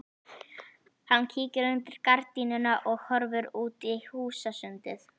Hann kíkir undir gardínuna og horfir út í húsasundið.